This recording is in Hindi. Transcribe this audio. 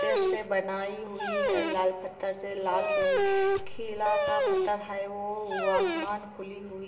पत्थर बनाई गई हुई है लाल पत्तर से लाल किला का पत्थर है वो आसमान खुली हुई--